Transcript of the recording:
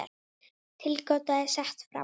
Tilgáta er sett fram.